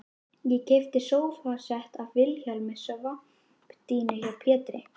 Ég keypti sófasett af Vilhjálmi og svampdýnu hjá Pétri